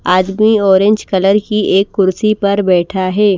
आदमी orange colour की एक कुर्सी पर बैठा है।